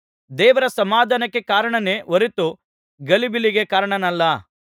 ದೇವರು ಸಮಾಧಾನಕ್ಕೆ ಕಾರಣನೇ ಹೊರತು ಗಲಿಬಿಲಿಗೆ ಕಾರಣನಲ್ಲ